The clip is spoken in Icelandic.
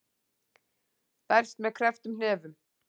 Berst með krepptum hnefum.